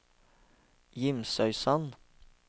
Gimsøysand